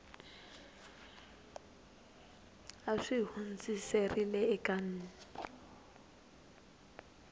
a xi hundziserile eka n